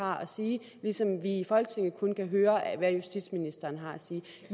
har at sige ligesom vi i folketinget kun kan høre hvad justitsministeren har at sige